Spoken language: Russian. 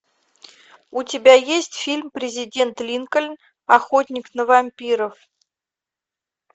у тебя есть фильм президент линкольн охотник на вампиров